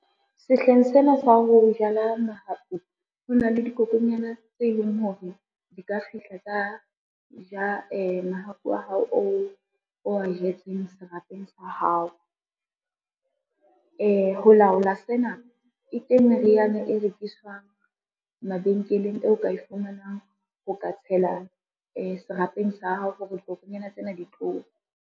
Sehleng sena sa ho jala mahapu, ho na le dikokonyana tse leng hore di ka fihla tsa ja mahapu wa hao o wa jetseng serapeng sa hao. Ho laola sena e teng meriana e rekiswang mabenkeleng eo ka e fumanang ho ka tshela serapeng sa hao hore dikokonyana tsena ditlowe.